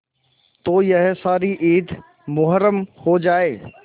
तो यह सारी ईद मुहर्रम हो जाए